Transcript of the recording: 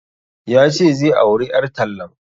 Ya ce zai auri ƴar tallan